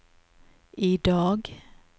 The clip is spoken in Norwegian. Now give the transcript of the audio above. idag